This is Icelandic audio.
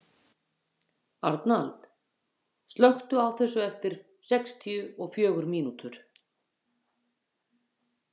Arnald, slökktu á þessu eftir sextíu og fjögur mínútur.